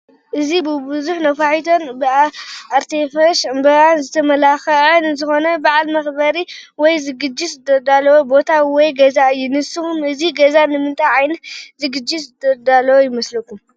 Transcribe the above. እዚ ብቡዙሕ ነፋሒቶን ብኣርቴፊሻ ዕምበባን ዝተመላኸዐ ንዝኾነ በዓል መኽበሪ ወይ ዝግጅት ዝተዳለወ ቦታ ወይ ገዛ እዩ፡፡ ንስኹም እዚ ገዛ ንምንታይ ዓይነት ዝግጅት ዝተዳለወ ይመስለኩም?